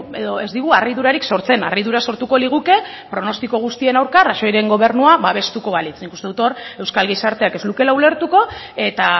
edo ez digu harridurarik sortzen harridura sortuko liguke pronostiko guztien aurka rajoyren gobernua babestuko balitz nik uste dut hor euskal gizarteak ez lukeela ulertuko eta